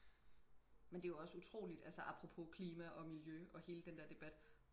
men det er jo også utroligt altså apropos klima og miljø og hele den der debat